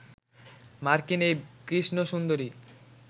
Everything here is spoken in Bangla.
মার্কিন এই কৃষ্ণ সুন্দরী